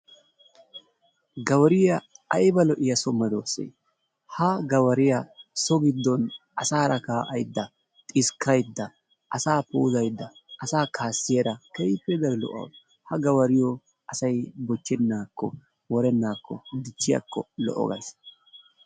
Gawariya ayba lo'iya sohuwa dossay ha gawariya so giddon asaara kaa'aydda, xiskkaydda asaa puuzayda asaa kaasiyaara keehippe daro gawariyo asay bochchenaakko worenaakko dichchiyakko lo"o gays.